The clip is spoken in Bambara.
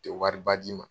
Tɛ wariba di ma